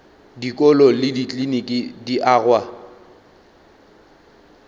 dikolo le dikliniki di agwa